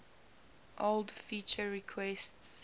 old feature requests